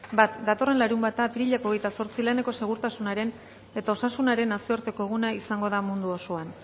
bat datorren larunbata apirilak hogeita zortzi laneko segurtasunaren eta osasunaren nazioarteko eguna izango da mundu osoan